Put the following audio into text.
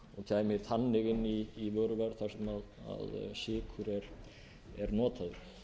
kæmi þannig inn í vöruverð þar sem sykur er notaður